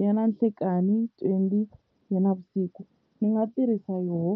ya na nhlekani twenty ya navusiku ndzi nga tirhisa yoh .